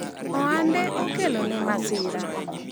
ohande okelone masira